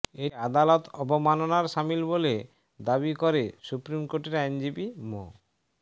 এটি আদালত অবমাননার শামিল দাবি করে সুপ্রিম কোর্টের আইনজীবী মো